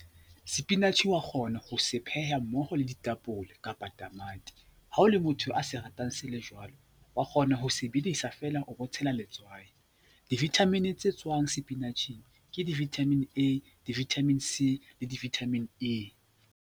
Sepinatjhe wa kgona ho se pheha mmoho le ditapole kapa tamati. Ha o le motho a se ratang se le jwalo wa kgona ho sebedisa feela o bo tshela letswai. Di-vitamin tse tswang sepinatjhe ke di-vitamin A, di-vitamin C le di-vitamin E.